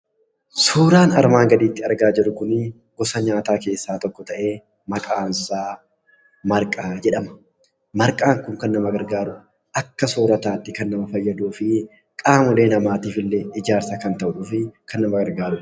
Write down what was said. Suuraan armaan gaditti argaa jirru kun gosa nyaataa keessaa tokko ta'ee maqansaa marqaa jedhama. Marqaan kun kan nama gargaaru, akka soorrataatti kan nama fayyaduufi qaamolee namaatifillee ijaarsa kan ta'uufi kan nama gargaarudha.